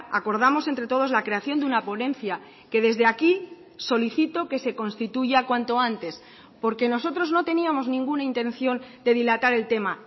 acordamos entre todos la creación de una ponencia que desde aquí solicito que se constituya cuanto antes porque nosotros no teníamos ninguna intención de dilatar el tema